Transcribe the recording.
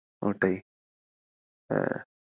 ওটাই হ্যাঁ।